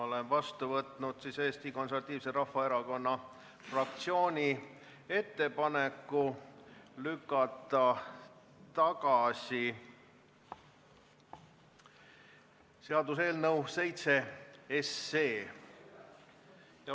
Olen vastu võtnud Eesti Konservatiivse Rahvaerakonna fraktsiooni ettepaneku lükata tagasi seaduseelnõu, mis kannab numbrit 7.